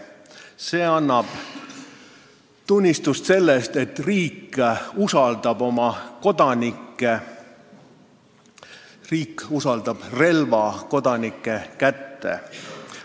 See annab tunnistust sellest, et riik usaldab oma kodanikke, sest ta usaldab relva kodanike kätte.